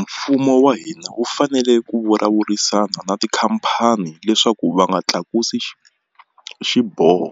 Mfumo wa hina wu fanele ku vulavurisana na tikhampani leswaku va nga tlakusi xiboho